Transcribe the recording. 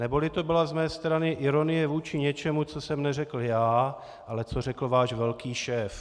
Neboli to byla z mé strany ironie vůči něčemu, co jsem neřekl já, ale co řekl váš velký šéf.